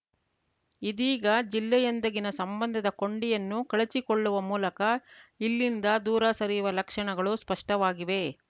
ಇದೀಗ ಜಿಲ್ಲೆಯೊಂದಿಗಿನ ಸಂಬಂಧದ ಕೊಂಡಿಯನ್ನೂ ಕಳಚಿಕೊಳ್ಳುವ ಮೂಲಕ ಇಲ್ಲಿಂದ ದೂರ ಸರಿಯುವ ಲಕ್ಷಣಗಳು ಸ್ಪಷ್ಟವಾಗಿವೆ